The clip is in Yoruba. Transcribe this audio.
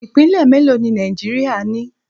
Ipinle mélòó ni Nàìjíríà ni?